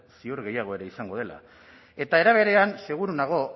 ziur gehiago ere izango dela eta era berean seguru nago